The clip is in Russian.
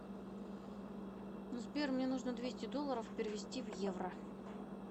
сбер мне нужно двести долларов перевести в евро